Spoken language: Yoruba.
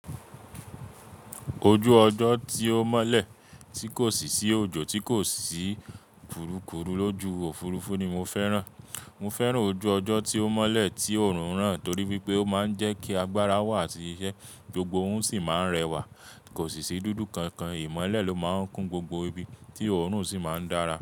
Ojú ọjọ́ tí ó mọ́lẹ̀, tí kò sì sí òjò, tí kò sì burúkúrú lójú Òfurufú ni mo fẹ́ràn. Mo fẹ́ràn ojú ọjọ́ tí ó mọ́lẹ̀, tí òórùn rán torí wípé ó máa ń jẹ́ kí agbára wà tí iṣẹ́, gbogbo ohun sì máa ń rẹwà. Kò sì sí dúdú kankan, ìmọ́lẹ̀ ló máa ń kún gbogbo ibi tí òórùn sì máa ń dára.